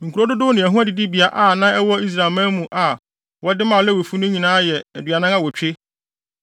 Nkurow dodow ne ɛho adidibea a na ɛwɔ Israelman mu a wɔde maa Lewifo no nyinaa yɛ aduanan awotwe.